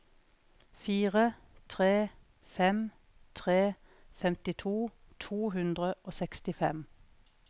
fire tre fem tre femtito to hundre og sekstifem